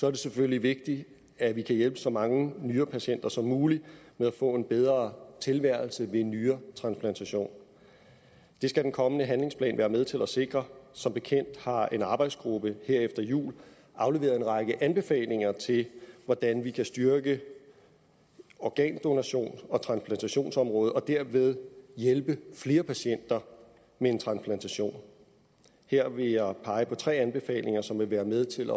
er det selvfølgelig vigtigt at vi kan hjælpe så mange nyrepatienter som muligt med at få en bedre tilværelse ved en nyretransplantation det skal den kommende handlingsplan være med til at sikre som bekendt har en arbejdsgruppe her efter jul afleveret en række anbefalinger til hvordan vi kan styrke organdonations og transplantationsområdet og dermed hjælpe flere patienter med transplantation her vil jeg pege på tre anbefalinger som vil være med til